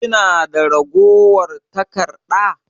Kina da ragowar taƙarɗa?